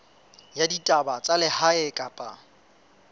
ya ditaba tsa lehae kapa